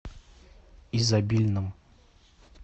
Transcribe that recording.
изобильном